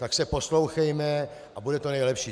Tak se poslouchejme a bude to nejlepší.